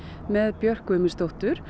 með Björk Guðmundsdóttur